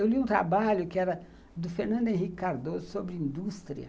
Eu li um trabalho que era do Fernando Henrique Cardoso sobre indústria.